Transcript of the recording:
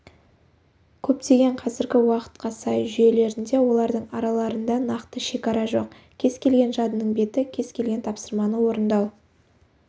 көптеген қазіргі уақытқа сай жүйелерінде олардың араларында нақты шекара жоқ кез келген жадының беті кез келген тапсырманы орындау